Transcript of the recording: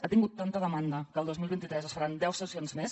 ha tingut tanta demanda que el dos mil vint tres se’n faran deu sessions més